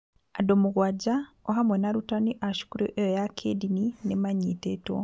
Andũ mũgwanja, o hamwe na arutani a cukuru ĩyo ya kĩĩndini, nĩ maanyitĩtwo.